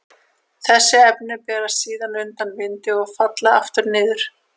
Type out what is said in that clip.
Þessi efni berast síðan undan vindi og falla aftur niður.